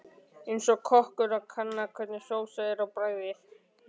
Eins og kokkur að kanna hvernig sósa er á bragðið.